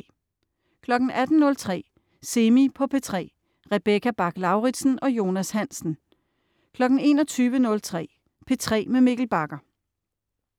18.03 Semi på P3 Rebecca Bach-Lauritsen og Jonas Hansen 21.03 P3 med Mikkel Bagger